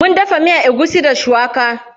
Mun dafa miyan egusi da shuwaka.